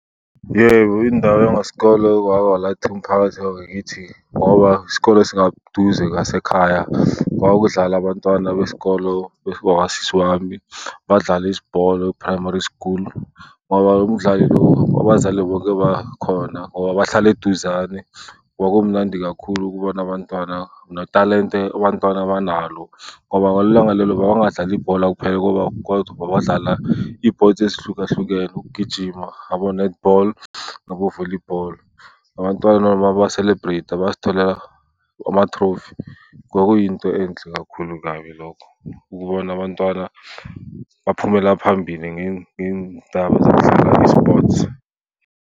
Yebo, indaba ngithi ngoba isikole singaduze ngasekhaya. Kwakudlalwa abantwana besikolo bakasisi wami. Badlala ibhola eprimary school ngoba umdlali lo abazali bonke bakhona ngoba bahlala eduzane. Kwakumnandi kakhulu ukubona abantwana notalente abantwana abanalo. Ngoba ngalelo langa lelo babengadlali ibhola kuphela kodwa babedlala iy'pothi ezihlukahlukene, ukugijima, abo-netball, nabo-volleyball. Abantwana baba-celebrate-a bazitholela ama-trophy. Kwakuyinto enhle kakhulu kabi lokho ukubona abantwana baphumela phambili ngey'ndaba zokudlala i-sports.